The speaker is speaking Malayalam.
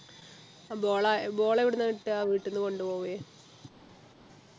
ഏർ ball അ ball എവിടുന്ന കിട്ട വീട്ടിന്നു കൊണ്ടുപോവേ